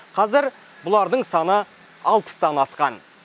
қазір бұлардың саны алпыстан асқан